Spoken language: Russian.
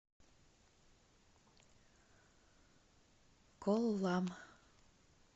коллам